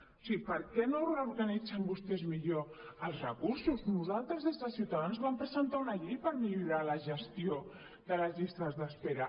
o sigui per què no reorganitzen vostès millor els recursos nosaltres des de ciutadans vam presentar una llei per millorar la gestió de les llistes d’espera